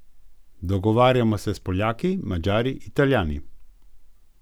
Dogovarjamo se s Poljaki, Madžari, Italijani.